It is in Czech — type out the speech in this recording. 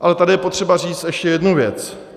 Ale tady je potřeba říct ještě jednu věc.